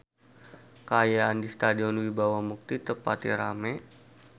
Kaayaan di Stadion Wibawa Mukti teu pati rame